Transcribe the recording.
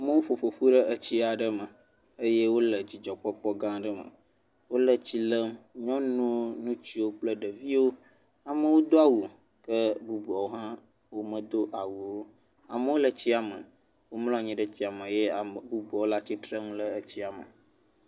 Amewo ƒo ƒoƒu ɖe etsia aɖe me eye wole dzidzɔkpɔkpɔ gã aɖe me. Wole tsi lem, nyɔnuwo, ŋutsuwo kple ɖeviwo, ame do awu, ke bubuawo hã womedo awu o, amewo le tsia me, womlɔ anyi ɖe etsia me ye ame bubuawo le atsitre le etsia me.